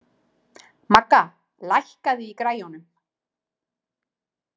Magga, lækkaðu í græjunum.